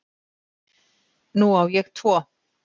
Nú á ég tvo